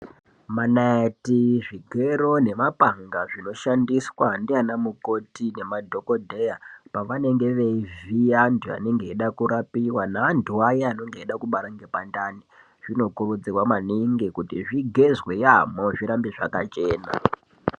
Manaiti, zvigero nemapanga zvinoshandiswa ndianamukoti nemadhokodheya pavanenge vevhiya vantu vanenge veida kurapiwa nevantu vaya vanenge veide kubara ngepandani zvinokurudzirwa maningi kuti zvigezwe yaamho zvirambe zvakachena.